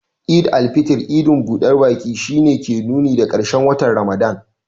Eid al-fitr, idin budar baki, shi ne ke nuni da karshen watan Ramadan.